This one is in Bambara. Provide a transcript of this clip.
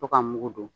To ka mugu don